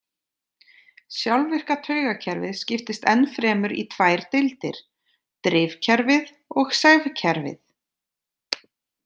Sjálfvirka taugakerfið skiptist enn fremur í tvær deildir- drifkerfið og sefkerfið.